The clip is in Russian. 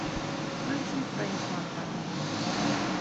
включи френч монтана